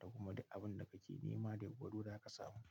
da kuma abun da kake nema da yuwuwar zaka samu.